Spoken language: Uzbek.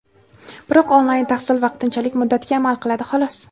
Biroq onlayn tahsil vaqtinchalik muddatga amal qiladi xolos.